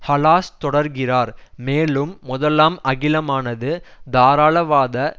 ஹலாஸ் தொடர்கிறார் மேலும் முதலாம் அகிலமானது தாராளவாத